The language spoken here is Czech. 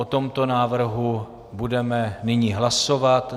O tomto návrhu budeme nyní hlasovat.